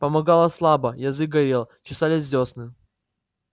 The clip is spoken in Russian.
помогало слабо язык горел чесались десны